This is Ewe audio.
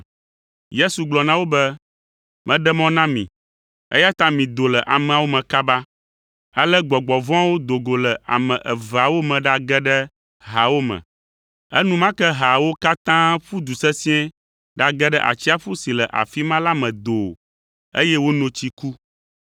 Yesu gblɔ na wo be, “Meɖe mɔ na mi, eya ta mido le ameawo me kaba!” Ale gbɔgbɔ vɔ̃awo do go le ame eveawo me ɖage ɖe haawo me; enumake haawo katã ƒu du sesĩe ɖage ɖe atsiaƒu si le afi ma la me doo, eye wono tsi ku.